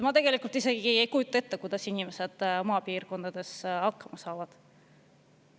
Ma tõesti ei kujuta ette, kuidas inimesed maapiirkondades hakkama saavad.